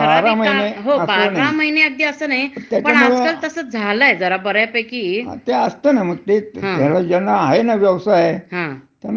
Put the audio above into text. तशी म्हणजे काय आहे, हं. व्यवसाय चांगला चालत असेल, हं. तरच त्याच्यामध्ये आणि तुमच कौशल्य पाहिजे त्याला. हो, हो, हो.